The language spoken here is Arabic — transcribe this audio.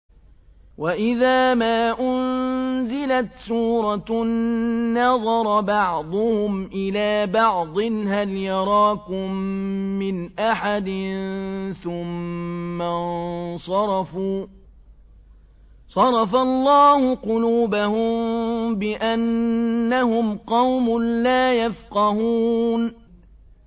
وَإِذَا مَا أُنزِلَتْ سُورَةٌ نَّظَرَ بَعْضُهُمْ إِلَىٰ بَعْضٍ هَلْ يَرَاكُم مِّنْ أَحَدٍ ثُمَّ انصَرَفُوا ۚ صَرَفَ اللَّهُ قُلُوبَهُم بِأَنَّهُمْ قَوْمٌ لَّا يَفْقَهُونَ